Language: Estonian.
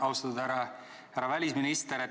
Austatud härra välisminister!